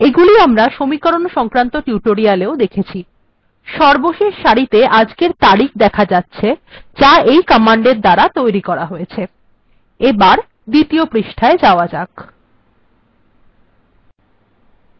এগুলি আমরা সমীরকন সংক্রান্ত টিউটোরিয়াল্এও দেখেছি সর্বশেষ সারিতে আজকের তারিখ দেখা যাচ্ছে যা এই কমান্ডএর দ্বারা তৈরী করা হয়েছে এবার দ্বিতীয় পৃষ্ঠায় যাওয়া যাক